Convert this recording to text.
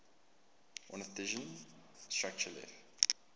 ornithischian structure left